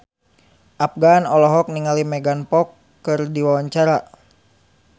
Afgan olohok ningali Megan Fox keur diwawancara